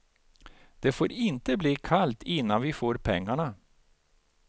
Det får inte bli kallt innan vi får pengarna.